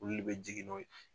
Olu de bɛ jigin n'o ye